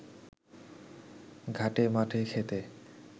ঘাটে মাঠে ক্ষেতে